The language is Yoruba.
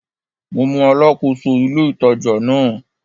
Mo mọ Alákóso ilé-ìtàjà náà